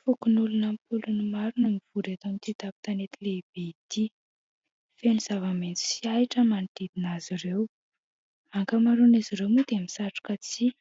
Fokonoloba ampolony maro no mivory eto amin'ity tampon-tanety lehibe ity, feno zava-maitso sy ahitra manodidina azy ireo. Ankamaroan'izy ireo moa dia misatroka tsihy